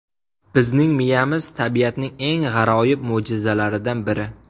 Bizning miyamiz tabiatning eng g‘aroyib mo‘jizalaridan biri.